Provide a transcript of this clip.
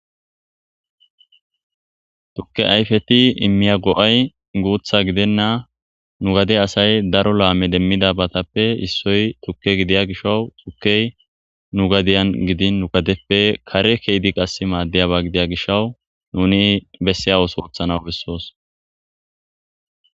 tukke ayfeti immiya go'ay guutha gidenna, nu gade asay daro laame demmida batappe issoy tukke gidiya gishau tukkey nu gadiyan gidin nu gadeppe kare keedi qas maaddeyaba gidiya gishawu nuni besse awus oothana besosi